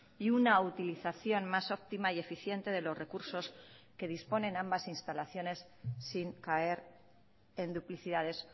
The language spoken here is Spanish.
y una utilización más óptima y eficiente de los recursos que disponen ambas instalaciones sin caer en duplicidades